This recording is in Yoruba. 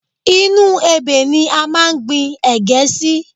Inú ebè ni a máa ń gbi ẹ̀gẹ́ sí